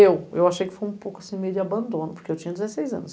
Eu, eu achei que foi um pouco assim, meio de abandono, porque eu tinha dezesseis anos.